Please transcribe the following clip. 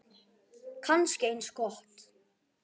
Kannski eins gott.